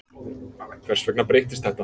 Hvers vegna breyttist þetta?